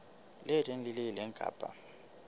leng le le leng kapa